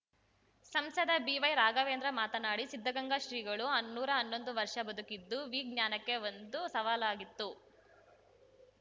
ಸಂಸದ ಬಿವೈರಾಘವೇಂದ್ರ ಮಾತನಾಡಿ ಸಿದ್ಧಗಂಗಾ ಶ್ರೀಗಳು ನೂರಾ ಹನ್ನೊಂದು ವರ್ಷ ಬದುಕಿದ್ದುದು ವಿಜ್ಞಾನಕ್ಕೆ ಒಂದು ಸವಾಲಾಗಿತ್ತು